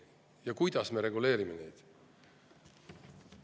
Ja kuidas me seda reguleerime?